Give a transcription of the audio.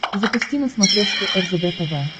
запусти на смотрешке ржд тв